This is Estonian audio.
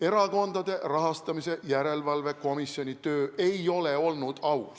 Erakondade Rahastamise Järelevalve Komisjoni töö ei ole olnud aus.